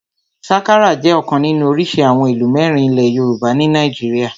Sakara jẹ́ ọ̀kan nínú orísìí àwọn ìlù mẹ́rin ilẹ̀ yoòbá ní nàìjíríyà